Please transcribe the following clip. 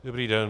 Dobrý den.